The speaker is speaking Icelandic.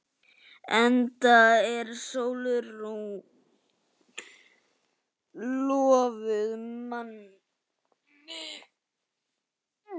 Enda er Sólrún lofuð manni.